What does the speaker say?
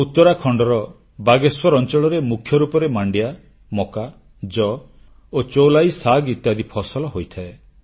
ଉତ୍ତରାଖଣ୍ଡର ବାଗେଶ୍ୱର ଅଂଚଳରେ ମୁଖ୍ୟରୂପରେ ମାଣ୍ଡିଆ ମକା ଯଅ ଓ ଚୌଲାଇ ଶାଗ ଇତ୍ୟାଦି ଫସଲ ହୋଇଥାଏ